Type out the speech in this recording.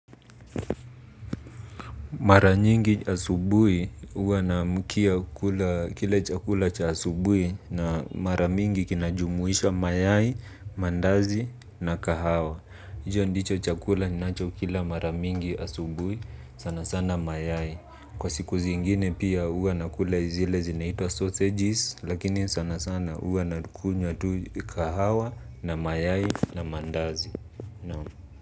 Mara nyingi asubui huwa naamkia kula kile chakula cha asubui na mara mingi kinajumuisha mayai, mandazi na kahawa. Hicho ndicho chakula ninachokila mara mingi asubui sana sana mayai. Kwa siku zingine pia huwa nakula zile zinaitwa sausages lakini sana sana huwa nakunywa tu kahawa na mayai na mandazi.